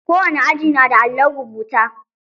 Kowane aji na da allon rubuta.